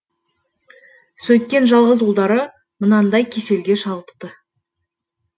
сөйткен жалғыз ұлдары мынандай кеселге шалдықты